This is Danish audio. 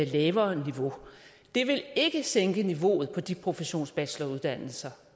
lavere niveau det vil ikke sænke niveauet på de professionsbacheloruddannelser